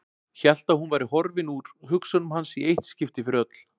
Hélt að hún væri horfin úr hugsunum hans í eitt skipti fyrir öll.